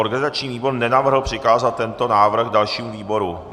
Organizační výbor nenavrhl přikázat tento návrh dalšímu výboru.